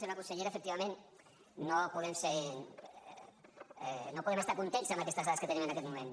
senyora consellera efectivament no podem estar contents amb aquestes dades que tenim en aquest moment